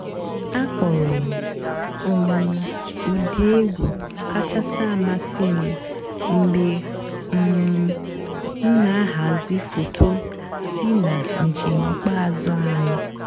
àkpọ́rọ́ m um ụ́dị́ ègwú kàchàsị́ àmásị́ m mg̀bé um m nà-àhàzị́ fòtò sí nà ǹjéém ìkpeázụ́ ànyị́.